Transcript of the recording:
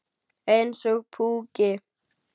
Eins og púki.